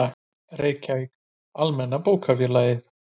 Reykjavík: Almenna Bókafélagið.